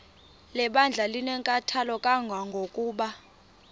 lebandla linenkathalo kangangokuba